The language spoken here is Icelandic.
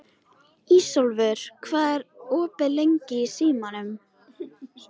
Ísólfur, hvað er opið lengi í Símanum?